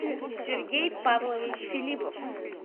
сергей павлович филиппов